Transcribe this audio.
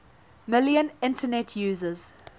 million internet users